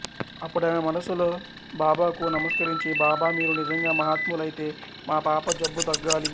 అప్పుడామె మనస్సులో బాబాకు నమస్కరించి బాబా మీరు నిజంగా మహాత్ములైతే మా పాప జబ్బు తగ్గాలి